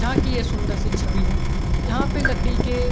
यहाँ की एक सुंदर सी एक छवि है यहाँ पे लकड़ी के --